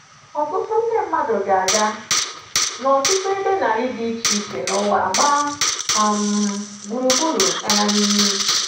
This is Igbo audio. ỌTỤTỤ NDE MMADỤ GA-AGA n’ọtụtụ ebe narị dị iche iche n'ụwa gbaa um gburugburu. um